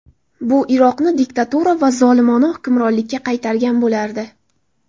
Bu Iroqni diktatura va zolimona hukmronlikka qaytargan bo‘lardi.